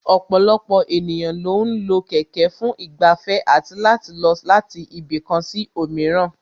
Ọ̀pọ̀lọpọ̀ ènìyàn lo ń lo kẹ̀kẹ́ fún ìgbafẹ́ àti láti lọ láti ibì kan sí òmíràn